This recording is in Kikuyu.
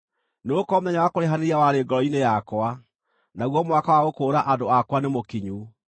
Nĩgũkorwo mũthenya wa kũrĩhanĩria warĩ ngoro-inĩ yakwa, naguo mwaka wa gũkũũra andũ akwa nĩmũkinyu.